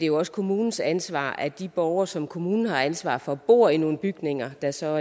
jo også kommunens ansvar at de borgere som kommunen har ansvar for bor i nogle bygninger der så